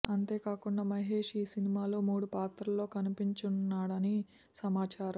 అంతే కాకుండా మహేష్ ఈ సినిమాలో మూడు పాత్రల్లో కనిపించనున్నాడని సమాచారం